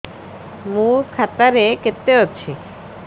ମୋ ଖାତା ରେ କେତେ ଅଛି